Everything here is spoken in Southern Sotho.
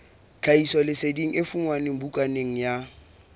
tlhahisoleseding e fumanwe bukaneng ya